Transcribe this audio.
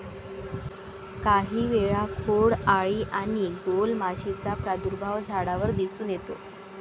काही वेळा खोड आळी आणि गोल माशीचा प्रादुर्भाव झाडावर दिसून येतो.